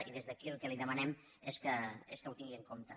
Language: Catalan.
i des d’aquí el que li demanem és que ho tingui en compte